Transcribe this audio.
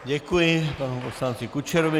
Děkuji panu poslanci Kučerovi.